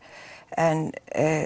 en